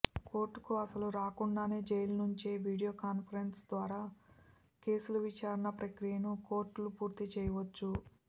కోర్టుకు అస్సలు రాకుండానే జైలు నుంచే వీడియోకాన్ఫరెన్స్ ద్వారా కేసుల విచారణ ప్రక్రియను కోర్టులు పూర్తి చేయవచ్చు